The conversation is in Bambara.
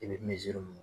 I bɛ